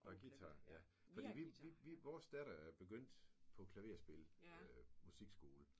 Nåh guitar ja. Fordi vi vi vi vores datter begyndte på klaverspil musikskole